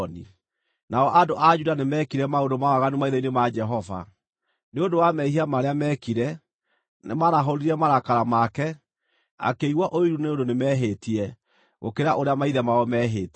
Nao andũ a Juda nĩmekire maũndũ ma waganu maitho-inĩ ma Jehova. Nĩ ũndũ wa mehia marĩa meekire, nĩmarahũrire marakara make, akĩigua ũiru nĩ ũndũ nĩmehĩtie, gũkĩra ũrĩa maithe mao meehĩtie.